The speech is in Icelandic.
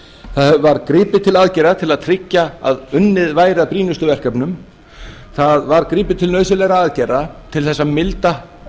það var gripið til aðgerða til að tryggja að unnið væri að brýnustu verkefnunum það var gripið til nauðsynlegra aðgerða til þess að milda